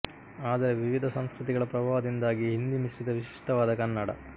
ಆದರೆ ವಿವಿಧ ಸಂಸ್ಕೃತಿಗಳ ಪ್ರಭಾವದಿಂದಾಗಿ ಹಿಂದಿ ಮಿಶ್ರಿತ ವಿಶಿಷ್ಠವಾದ ಕನ್ನಡ